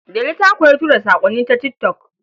Delu ta koyi tura saƙonni ta tik tok.